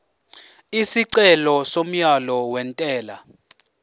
isicelo somyalo wentela